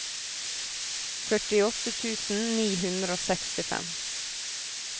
førtiåtte tusen ni hundre og sekstifem